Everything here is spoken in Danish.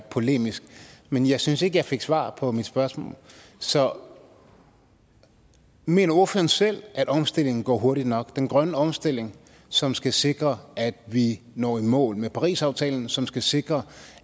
polemisk men jeg synes ikke jeg fik svar på mit spørgsmål så mener ordføreren selv at omstillingen går hurtigt nok den grønne omstilling som skal sikre at vi når i mål med parisaftalen som skal sikre